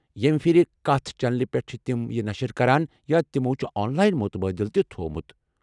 ییمہِ پھِرِ کتھ چینلہِ پٮ۪ٹھ چھ تِم یہِ نشر کران یا تمو چُھ آن لاین مُتبٲدِل تہِ تھوومُت ؟